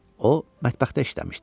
O mətbəxdə işləmişdi.